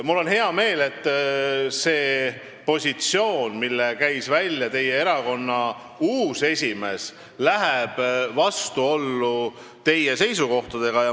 Mul on hea meel, et see positsioon, mille on välja käinud teie erakonna uus esimees, läheb vastuollu teie seisukohtadega.